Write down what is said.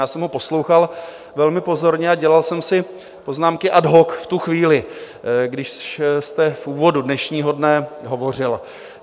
Já jsem ho poslouchal velmi pozorně a dělal jsem si poznámky ad hoc v tu chvíli, když jste v úvodu dnešního dne hovořil.